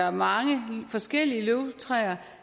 og mange forskellige løvtræer